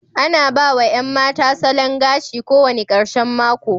Ana ba wa 'yan mata salon gashi kowane ƙarshen mako.